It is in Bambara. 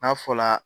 N'a fɔla